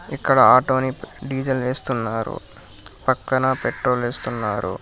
ఇక్కడ ఆటోని డీజిల్ వేస్తున్నారు పక్కన పెట్రోల్ వేస్తున్నారు.